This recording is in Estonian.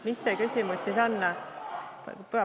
Mis see küsimus siis on?